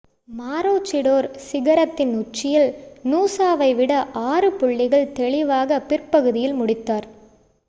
Maroochydore சிகரத்தின் உச்சியில் நூசாவை விட ஆறு புள்ளிகள் தெளிவாக பிற்பகுதியில் முடித்தார்